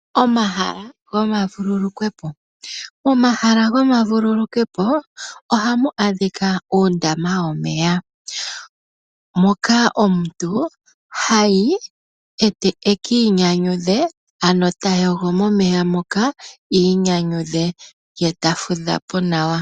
Omahala gomavululukwepo ohamu adhika uundama womeya moka omuntu hayi ekiinyanyudhe, ano tayogo momeya moka iinyanyudhe ye tafudha po nawa.